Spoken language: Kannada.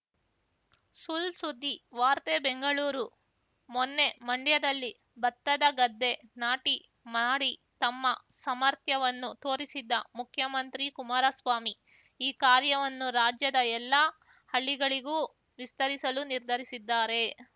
ಸುಳ್‌ಸುದ್ದಿ ವಾರ್ತೆ ಬೆಂಗಳೂರು ಮೊನ್ನೆ ಮಂಡ್ಯದಲ್ಲಿ ಭತ್ತದ ಗದ್ದೆ ನಾಟಿ ಮಾಡಿ ತಮ್ಮ ಸಮರ್ಥ್ಯವನ್ನು ತೋರಿಸಿದ್ದ ಮುಖ್ಯಮಂತ್ರಿ ಕುಮಾರಸ್ವಾಮಿ ಈ ಕಾರ್ಯವನ್ನು ರಾಜ್ಯದ ಎಲ್ಲಾ ಹಳ್ಳಿಗಳಿಗೂ ವಿಸ್ತರಿಸಲು ನಿರ್ಧರಿಸಿದ್ದಾರೆ